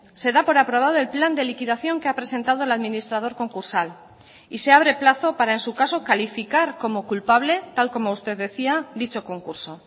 se da por aprobado el plan de liquidación que ha presentado el administrador concursal y se abre plazo para en su caso calificar como culpable tal como usted decía dicho concurso